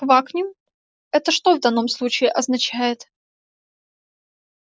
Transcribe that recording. квакнем это что в данном случае означает